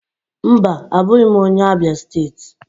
Mba, abụghị m onye Abịa steeti.